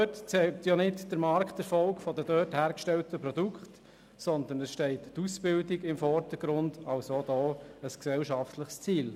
Auch bei diesen zählt nicht der Markterfolg der dort hergestellten Produkte, sondern es steht die Ausbildung im Vordergrund, also auch hier ein gesellschaftliches Ziel.